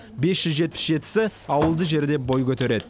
бес жүз жетпіс жетісі ауылды жерде бой көтереді